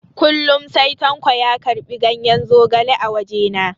Kullum sai tanko ya karɓi ganyen zogale a wajens.